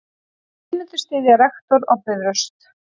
Nemendur styðja rektor á Bifröst